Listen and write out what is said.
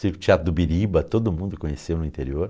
Circo teatro do Biriba, todo mundo conheceu no interior.